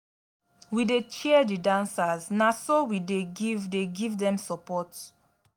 we dey cheer di dancers na so we dey give dey give dem support.